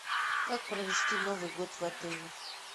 как провести новый год в отеле